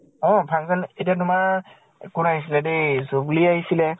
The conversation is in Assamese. অ function এতিয়া তোমাৰ কোন আহিছিলে দে, জুব্লী আহিছিলে